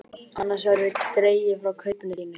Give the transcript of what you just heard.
Annars verður dregið frá kaupinu þínu.